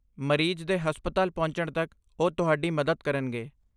ਮਰੀਜ਼ ਦੇ ਹਸਪਤਾਲ ਪਹੁੰਚਣ ਤੱਕ ਉਹ ਤੁਹਾਡੀ ਮਦਦ ਕਰਨਗੇ।